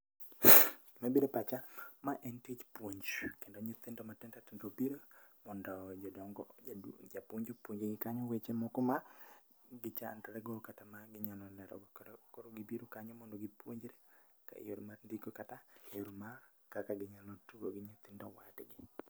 Gima bire pacha, ma en tich puonj. Kendo nyithindo matindo tindo obiro mondo jodongo japuonj opuonj gi kanyo weche ma gichandre go kata ma ginyalo lerogo. Koro gibiro kanyo mondo gipuonjre yore mar ndiko kata yore ma ginyalo tugo gi nyithindo wadgi.